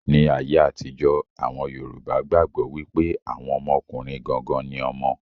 Ní ayé àtijó, àwọn yorùbá gbàgbọ́ wípé àwọn ọmọkùnrin gangan ni ọmọ.